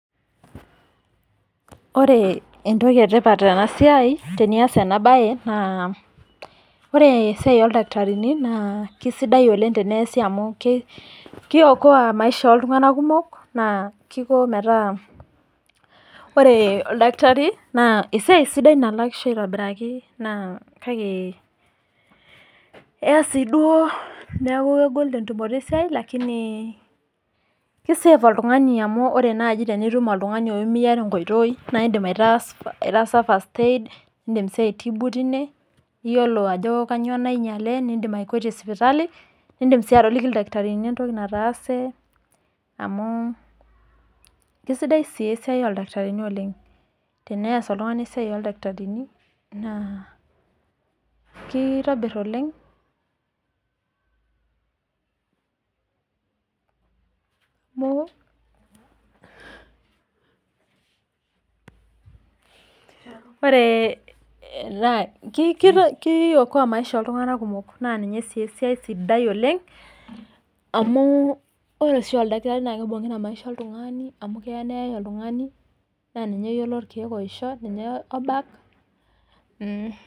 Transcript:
Ore entoki etipat tenias enabae naa ore esiai oldakitarini amu ore esiai oldakitarini naa kiokoa maisha oltunganak kumok naa kiko metaa ore oldakitari naa esiai sidai nalak aitobiraki